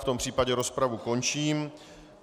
V tom případě rozpravu končím.